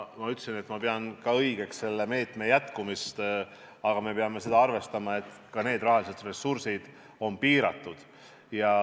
Ma ütlesin, et ma pean õigeks selle meetme jätkumist, aga me peame arvestama seda, et ka rahalised ressursid on piiratud.